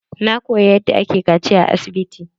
Na koyi yadda ake kaciya a asibiti.